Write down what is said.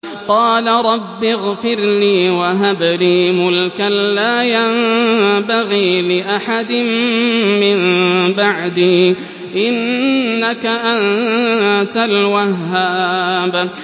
قَالَ رَبِّ اغْفِرْ لِي وَهَبْ لِي مُلْكًا لَّا يَنبَغِي لِأَحَدٍ مِّن بَعْدِي ۖ إِنَّكَ أَنتَ الْوَهَّابُ